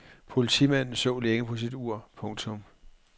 Politimanden så længe på sit ur. punktum